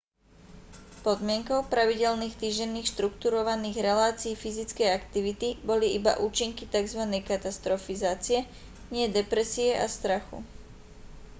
podmienkou pravidelných týždenných štruktúrovaných relácií fyzickej aktivity boli iba účinky tzv katastrofizácie nie depresie a strachu